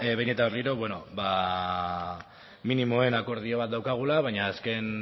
behin eta berriro minimoen akordio bat daukagula baina azken